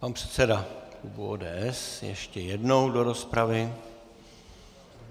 Pan předseda klubu ODS ještě jednou do rozpravy.